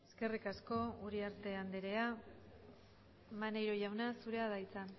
eskerrik asko uriarte andrea maneiro jauna zurea da hitza